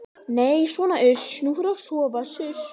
Nei sona uss, nú förum við að sofa suss.